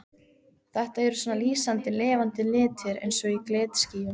Þetta eru svona lýsandi lifandi litir eins og í glitskýjum.